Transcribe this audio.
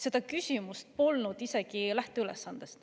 Seda küsimust polnud isegi lähteülesandes.